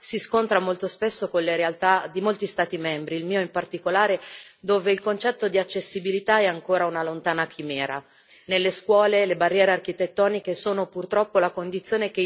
per la disabilità debba diventare universalmente conclusiva, si scontra molto spesso con le realtà di molti Stati membri, il mio in particolare, dove il concetto di accessibilità è ancora una lontana chimera.